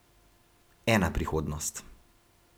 Ena prihodnost.